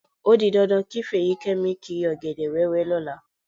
Ó di dandan kí Fèyíkẹ́mi kiri ọ̀gẹ̀dẹ̀ wẹ́wẹ́ lọ́la.